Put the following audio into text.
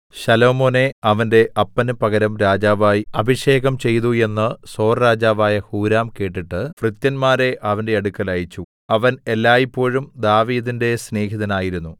ശലോമോനെ അവന്റെ അപ്പന് പകരം രാജാവായി അഭിഷേകം ചെയ്തു എന്ന് സോർരാജാവായ ഹൂരാം കേട്ടിട്ട് ഭൃത്യന്മാരെ അവന്റെ അടുക്കൽ അയച്ചു അവൻ എല്ലായ്പോഴും ദാവീദിന്റെ സ്നേഹിതനായിരുന്നു